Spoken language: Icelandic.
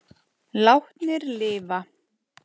Látnir lifa